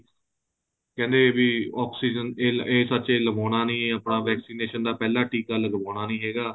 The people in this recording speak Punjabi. ਕਹਿੰਦੇ ਵੀ oxygen ਇਹ ਇਹ ਸੱਚ ਏ ਲਵਾਉਣਾ ਨਹੀਂ ਏ ਆਪਾਂ vaccination ਦਾ ਪਹਿਲਾਂ ਟੀਕਾ ਲਗਵਾਉਣਾ ਨਹੀਂ ਹੈਗਾ